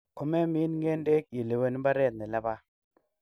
Komemin ng'endek, ilewen mbaret nelaba.